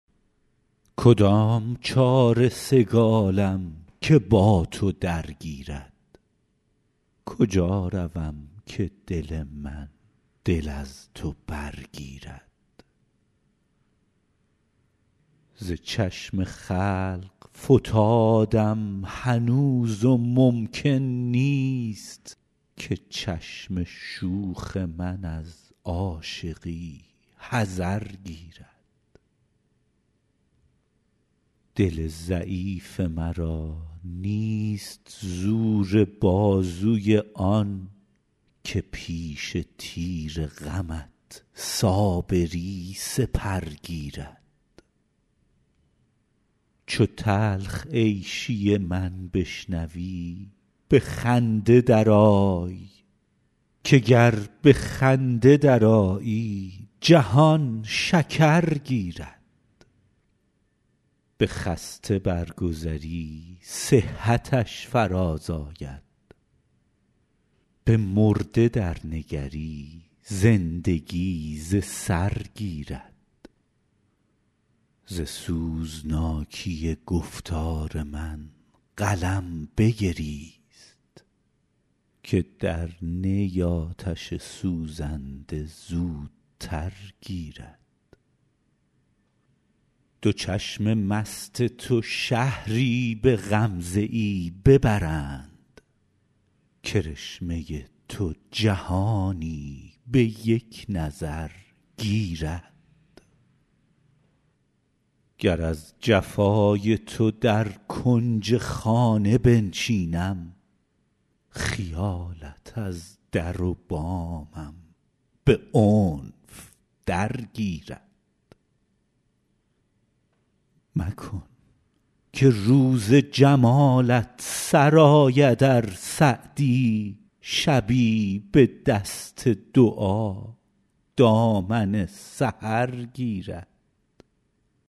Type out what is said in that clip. کدام چاره سگالم که با تو درگیرد کجا روم که دل من دل از تو برگیرد ز چشم خلق فتادم هنوز و ممکن نیست که چشم شوخ من از عاشقی حذر گیرد دل ضعیف مرا نیست زور بازوی آن که پیش تیر غمت صابری سپر گیرد چو تلخ عیشی من بشنوی به خنده درآی که گر به خنده درآیی جهان شکر گیرد به خسته برگذری صحتش فرازآید به مرده درنگری زندگی ز سر گیرد ز سوزناکی گفتار من قلم بگریست که در نی آتش سوزنده زودتر گیرد دو چشم مست تو شهری به غمزه ای ببرند کرشمه تو جهانی به یک نظر گیرد گر از جفای تو در کنج خانه بنشینم خیالت از در و بامم به عنف درگیرد مکن که روز جمالت سر آید ار سعدی شبی به دست دعا دامن سحر گیرد